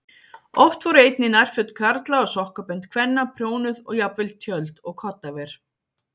Oft voru einnig nærföt karla og sokkabönd kvenna prjónuð og jafnvel tjöld og koddaver.